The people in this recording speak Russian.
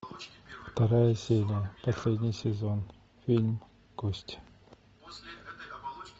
вторая серия последний сезон фильм кости